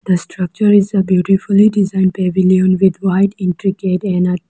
The structure is a beautifully designed pavilion with white entry gate and a --